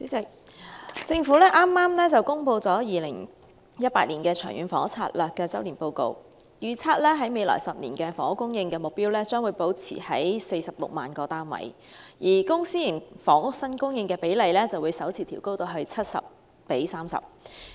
主席，政府剛公布了《長遠房屋策略》2018年周年進度報告，預測未來10年的房屋供應目標將保持在46萬個單位，而公私營房屋新供應比例則會首次調高至 70：30。